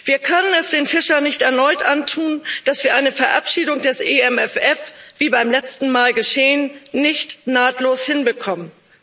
Wir können es den Fischern nicht erneut antun, dass wir eine Verabschiedung des EMFF, wie beim letzten Mal geschehen, nicht nahtlos hinbekommen.